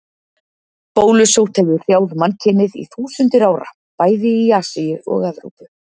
Bólusótt hefur hrjáð mannkynið í þúsundir ára, bæði í Asíu og Evrópu.